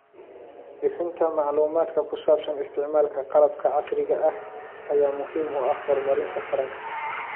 Bixinta macluumaadka ku saabsan isticmaalka qalabka casriga ah ayaa muhiim u ah horumarinta taranka.